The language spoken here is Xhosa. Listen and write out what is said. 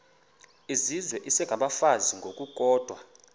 izizwe isengabafazi ngokukodwa